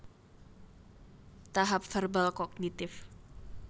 Tahap Verbal Kognitif